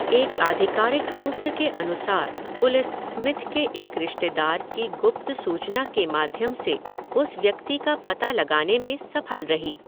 एक आधिकारिक सूत्र के अनुसार पुलिस स्मिथ के एक रिश्तेदार की गुप्त सूचना के माध्यम से उस व्यक्ति का पता लगाने में सफल रही।